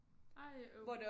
Ej øv